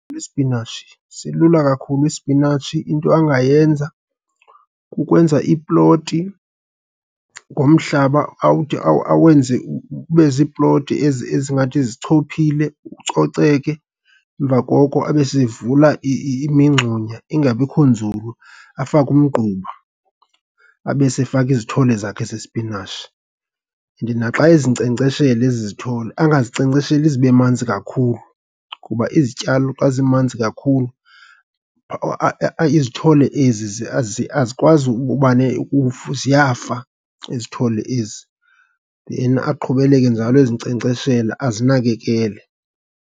Isipinatshi, silula kakhulu isipinatshi. Into angayenza kukwenza iploti ngomhlaba awenze ube ziiploti ezingathi zichophile, kucoceke. Emva koko abe seyevula imingxunya ingabikho nzulu, afake umgquba, abe sefaka izithole zakhe zesipinatshi. And naxa ezinkcenkceshela ezi zithole angazinkcenkcesheli zibe manzi kakhulu kuba izityalo xa zimanzi kakhulu izithole ezi azikwazi uba ziyafa izithole ezi. Then aqhubeleke njalo ezinkcenkceshela azinakekele.